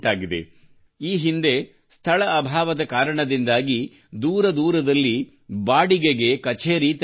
ಈ ಹಿಂದೆ ಸ್ಥಳ ಅಭಾವದ ಕಾರಣದಿಂದಾಗಿ ದೂರ ದೂರದಲ್ಲಿ ಬಾಡಿಗೆಗೆ ಕಛೇರಿ ತೆರೆಯಬೇಕಿತ್ತು